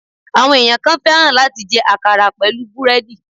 Àwọn èèyàn kan fẹ́ràn láti jẹ àkàrà pẹ̀lú búrèèdì